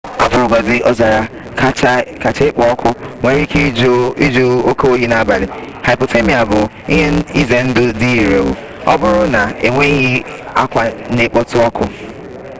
ọ bụrụgodina ọzara kacha ekpo ọkụ nwere ike ịjụ oke oyi n'abalị hypothermia bụ ihe ize ndụ dị ire ọ bụrụ na enweghị akwa na-ekpotụ ọkụ